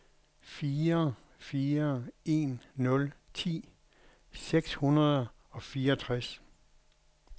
fire fire en nul ti seks hundrede og fireogtres